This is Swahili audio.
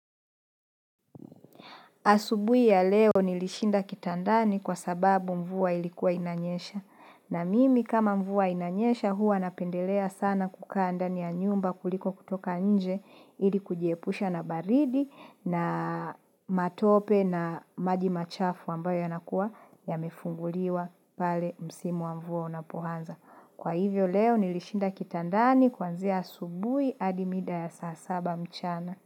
Asubuhi ya leo nilishinda kitandani kwa sababu mvua ilikuwa inanyesha. Na mimi kama mvua inanyesha huwa napendelea sana kukaa ndani ya nyumba kuliko kutoka nje ili kujiepusha na baridi na matope na maji machafu ambayo yanakuwa yamefunguliwa pale msimu wa mvua unapoanza. Kwa hivyo leo nilishinda kitandani kuanzia asubuhi adi mida ya saa saba mchana.